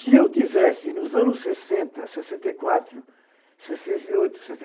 Se eu tivesse, nos anos sessenta, sessenta e quatro, sessenta e oito,